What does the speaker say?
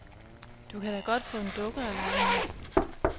Du kan da godt få en dukke at lege med.